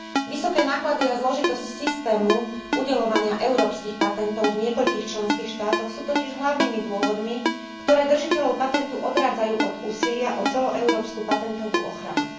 Vysoké náklady a zložitosť systému udeľovania európskych patentov v niekoľkých členských štátoch sú totiž hlavnými dôvodmi, ktoré držiteľov patentu odrádzajú od úsilia o celoeurópsku patentovú ochranu.